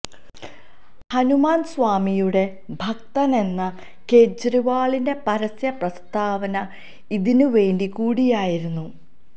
ഹനുമാൻ സ്വാമിയുടെ ഭക്തനെന്ന കെജ്രിവാളിന്റെ പരസ്യ പ്രസ്താവന ഇതിന് വേണ്ടി കൂടിയായിരുന്നു